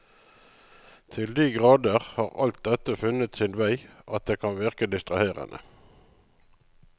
Til de grader har alt dette funnet sin vei, at det kan virke distraherende.